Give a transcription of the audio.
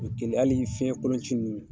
O ye kelen hali fiyɛn kolonci ninnu.